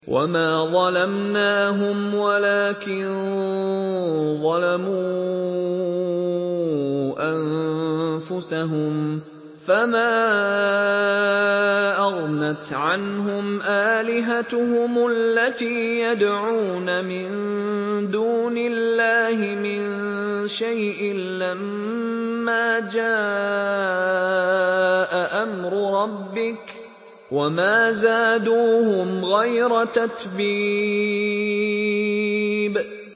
وَمَا ظَلَمْنَاهُمْ وَلَٰكِن ظَلَمُوا أَنفُسَهُمْ ۖ فَمَا أَغْنَتْ عَنْهُمْ آلِهَتُهُمُ الَّتِي يَدْعُونَ مِن دُونِ اللَّهِ مِن شَيْءٍ لَّمَّا جَاءَ أَمْرُ رَبِّكَ ۖ وَمَا زَادُوهُمْ غَيْرَ تَتْبِيبٍ